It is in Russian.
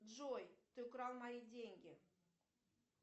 джой ты украл мои деньги